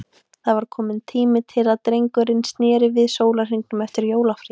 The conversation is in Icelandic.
Það var kominn tími til að drengurinn sneri við sólarhringnum eftir jólafríið.